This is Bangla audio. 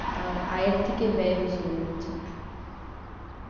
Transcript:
তার আয়ের থেকে ব্যয় বেশি হয়ে যাচ্ছে